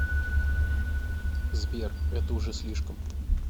сбер это уже слишком